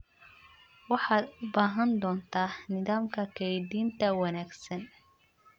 Waxaad u baahan doontaa nidaamka kaydinta wanaagsan.